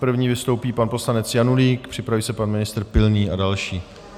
První vystoupí pan poslanec Janulík, připraví se pan ministr Pilný a další.